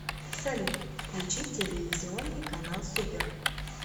салют включить телевизионный канал супер